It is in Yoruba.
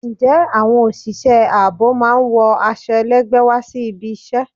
Ǹjẹ́ àwọn òṣìṣẹ́ ààbò máa ń wọ aṣọ ẹlẹgbẹ wá sí ibi ìṣe?